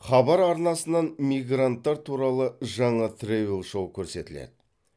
хабар арнасынан мигранттар туралы жаңа тревел шоу көрсетіледі